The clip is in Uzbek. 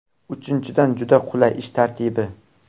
Uchinchidan, juda qulay ish tartibi.